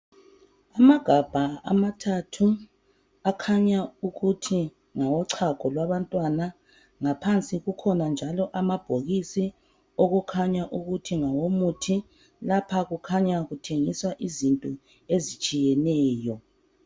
Amagabha ochago amathathu ngaphansi akhanya ukuthi ngabantwana , ngaphansi kukhona amabhokisi akhanya ukuthi ngumuthi, lapha kukhanya kuthengiswa izinto ezitshiyetshiyeneyo.